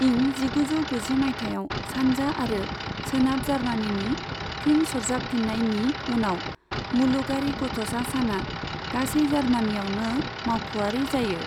इं जिगुजौ गुजि मायथाइयाव सानजा आरो सोनाब जार्मानिनि फिन सरजाबफिन्नायनि उनाव, मुलुगारि गथ'सा साना गासै जार्मानियावनो मावख'आरि जायो।